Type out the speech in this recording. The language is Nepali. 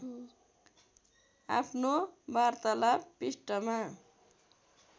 आफ्नो वार्तालाप पृष्ठमा